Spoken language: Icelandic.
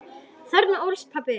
Þarna ólst pabbi upp.